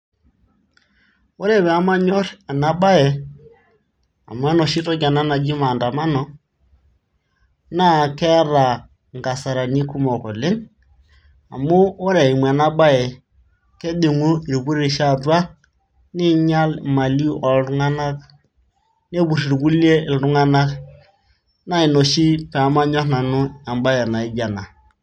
ore pee manyor ena bae, amu enoshi toki ena naji maandamano, naa keeta inkasarani kumok oleng, amu ore eimu ena bae kejingu irpurisho atua, neing'ial imali ooltunganak. nepur irkulie iltung'anak. naa ina oshi pee manyor nanu ebae naijo ena.